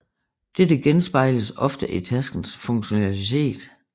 Dette genspejles ofte i taskens funktionalitet